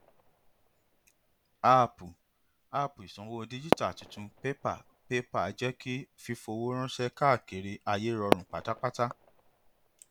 àápú app ìsanwó díjítà tuntun pépà paypal jẹ kí fífowó ránṣẹ káàkiri ayé rọrùn pátápátá